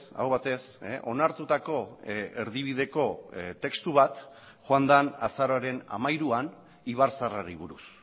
aho batez onartutako erdibideko testu bat joan den azaroaren hamairuan ibarzaharrari buruz